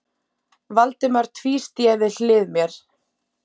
Valdimar tvísté við hlið mér.